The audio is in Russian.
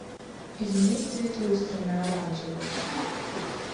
измени цвет люстры на оранжевый